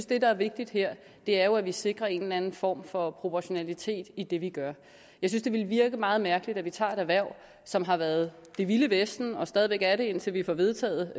det der er vigtigt her er at vi sikrer en eller anden form for proportionalitet i det vi gør jeg synes det ville virke meget mærkeligt hvis vi tog et erhverv som har været det vilde vesten og stadig væk er det indtil vi får vedtaget